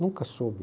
Nunca soube.